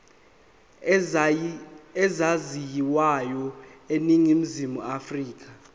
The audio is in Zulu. ezaziwayo eningizimu afrika